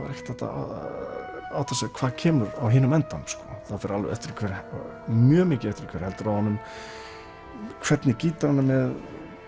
ekkert hægt að átta sig hvað kemur á hinum endanum það fer mjög mikið eftir því hver heldur á honum hvernig gítar hann er með